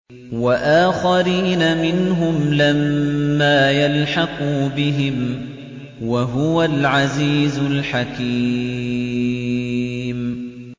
وَآخَرِينَ مِنْهُمْ لَمَّا يَلْحَقُوا بِهِمْ ۚ وَهُوَ الْعَزِيزُ الْحَكِيمُ